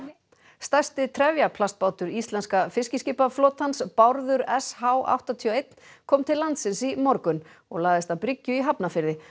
stærsti trefjaplastbátur íslenska fiskiskipaflotans Bárður s h áttatíu og eitt kom til landsins í morgun og lagðist að bryggju í Hafnarfirði